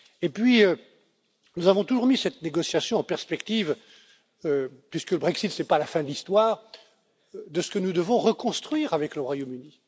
Puis, nous avons toujours mis cette négociation en perspective puisque le Brexit, ce n'est pas la fin de l'histoire de ce que nous devons reconstruire avec le Royaume